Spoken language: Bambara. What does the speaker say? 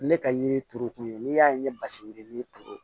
Ne ka yiri turu kun ye n'i y'a ye ne basigi yiri turu